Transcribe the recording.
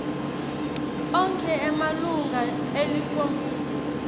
onkhe emalunga elikomidi